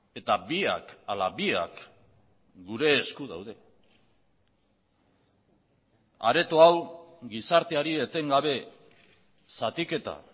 eta biak ala biak gure esku daude areto hau gizarteari etengabe zatiketa